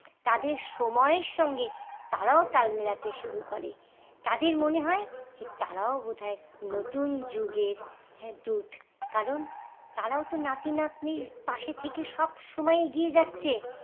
তাদের সময়ের সঙ্গে তারাও তাল মিলাতে শুরু করে তাদের মনে হয় যে তারাও বোধ হয় নতুন যুগের হ্যাঁ দুধ কারণ তারাও তো নাতি নাতনির পাশে থেকে সব সময় এগিয়ে যাচ্ছে